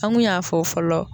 An kun y'a fɔ fɔlɔ.